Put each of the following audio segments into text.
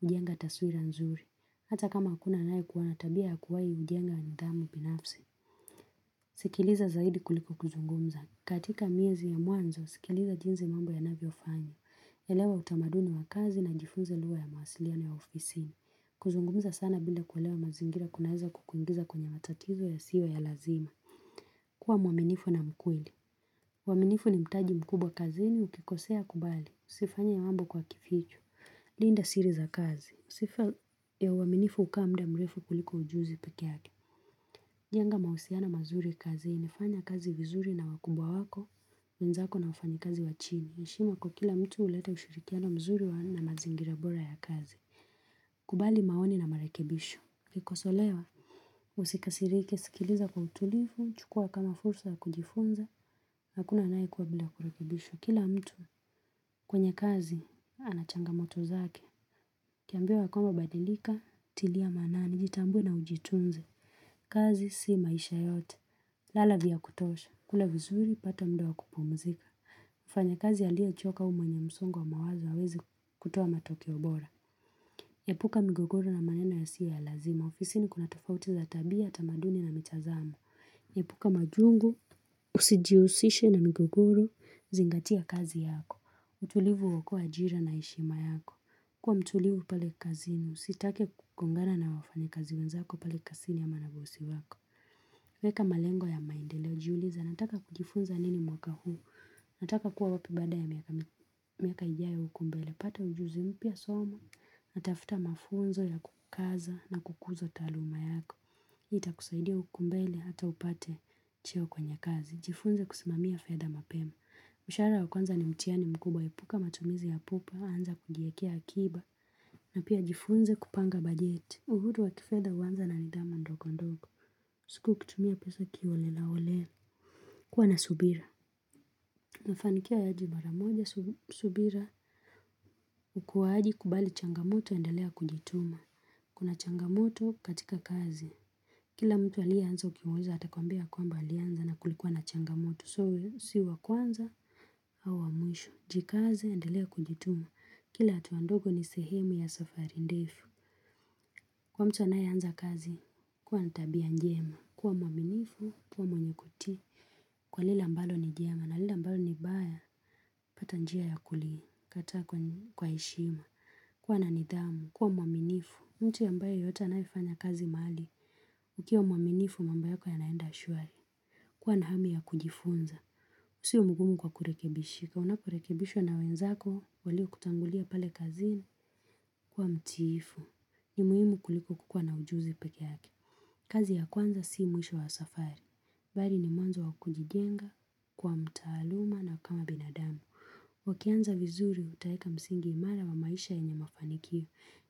Hujenga taswira nzuri. Hata kama hakuna anayekuwa na tabia ya kuwahi hujenga nidhamu binafsi. Sikiliza zaidi kuliko kuzungumza. Katika miezi ya mwanzo, sikiliza jinsi mambo yanavyofanywa. Elewa utamaduni wa kazi na jifunze lugha ya mawasiliano ya ofisi. Kuzungumza sana bila kuelewa mazingira kunaeza kukuingiza kwenye matatizo yasiyo ya lazima. Kuwa mwaminifu na mkweli. Uaminifu ni mtaji mkubwa kazini ukikosea kubali. Usifanye mambo kwa kificho. Linda siri za kazi sifa ya uaminifu hukaa muda mrefu kuliko ujuzi pekee yake. Jenga mahusiano mazuri kazini, fanya kazi vizuri na wakubwa wako, wenzako na wafanyikazi wa chini. Heshima kwa kila mtu huleta ushirikiano mzuri na mazingira bora ya kazi. Kubali maoni na marekebisho. Ukikosolewa, usikasirike, sikiliza kwa utulivu, chukua kama fursa ya kujifunza, hakuna anayekua bila kurekebishwa. Kila mtu kwenye kazi, ana changamoto zake. Ukiambiwa ya kwamba badilika, tilia maanani, jitambue na ujitunze. Kazi si maisha yote. Lala vya kutosha. Kula vizuri, pata muda wa kupumzika. Mfanyakazi aliyechoka au mwenye msongo wa mawazo hawezi kutoa matokeo bora. Epuka migogoro na maneno yasiyo ya lazima. Ofisini kuna tofauti za tabia, tamaduni na mitazamo. Yepuka majungu, usijiusishe na mgeguru, zingatia kazi yako. Utulivu huokoa ajira na heshima yako. Kuwa mtulivu pale kazini, usitake kugongana na wafanyikazi wenzako pale kazini ama na bosi wako. Weka malengo ya maendeleo, jiulize, nataka kujifunza nini mwaka huu, nataka kuwa wapi baada ya miaka ijayo huku mbele, pata ujuzi mpya soma, na tafuta mafunzo ya kukaza na kukuza taaluma yako. Itakusaidia huku mbele hata upate cheo kwenye kazi. Jifunze kusimamia fedha mapema. Mshahara wa kwanza ni mtihani mkubwa epuka matumizi ya pupa. Anza kujiekea akiba. Na pia jifunze kupanga bajeti. Uhuru wa kifedha huanza na nidhamu ndogo ndogo. Usikuwe ukitumia pesa kiholelaholela. Kuwa na subira. Mafanikio hayaji mara moja subira. Ukuaji kubali changamoto endelea kujituma. Kuna changamoto katika kazi. Kila mtu aliyeanza ukimuuliza atakwambia kwamba alianza na kulikuwa na changamoto. So si wa kwanza au wa mwisho. Jikaze, endelea kujituma. Kila hatua ndogo ni sehemu ya safari ndefu. Kwa mtu anayeanza kazi, kuwa na tabia njema. Kwa mwaminifu, kuwa mwenye kutii. Kwa lile ambalo ni jema. Na lile ambalo ni baya. Pata njia ya kuli. Kataa kwa heshima. Kuwa na nidhamu. Kuwa mwaminifu. Mtu ambaye yeyote anayefanya kazi mahali. Ukiwa mwaminifu mambo yako yanaenda shwari. Kuwa na hamu ya kujifunza. Usiwe mgumu kwa kurekebishika. Unaporekebishwa na wenzako waliokutangulia pale kazini kuwa mtiifu. Ni muhimu kuliko kukuwa na ujuzi pekee yake. Kazi ya kwanza si mwisho wa safari. Bali ni mwanzo wa kujijenga kuwa mtaaluma na kama binadamu. Ukianza vizuri utaeka msingi imara wa maisha yenye mafanikio.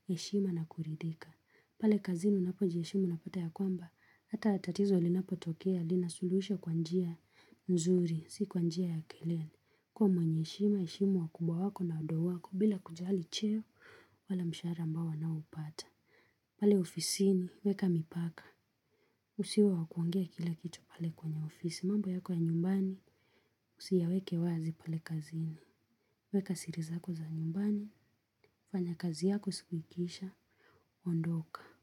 Heshima na kuridhika. Pale kazini unapojiheshimu unapata ya kwamba. Hata tatizo linapotokea, linasuluhishwa kwa njia nzuri, si kwa njia ya kelele. Kuwa mwenye heshima, heshimu wakubwa wako na wadogo wako, bila kujali cheo, wala mshahara ambao wanaopata. Pale ofisini, weka mipaka. Usiwe wa kuongea kila kitu pale kwenye ofisi. Mambo yako ya nyumbani, usiyaweke wazi pale kazini. Weka siri zako za nyumbani, fanya kazi yako siku ikiisha, ondoka.